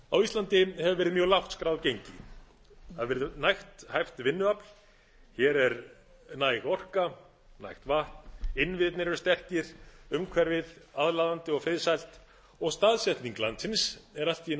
á íslandi hefur verið mjög lágt skráð gengi það hefur verið nægt hæft vinnuafl hér er næg orka nægt vatn innviðirnir eru sterkir umhverfið aðlaðandi og friðsælt og staðsetning landsins er allt í einu orðinn kostur frekar